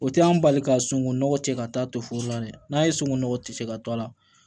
O tɛ an bali ka sunkonɔgɔ tigɛ ka taa to foro la dɛ n'a ye sunkonɔgɔ tigɛ ka to a la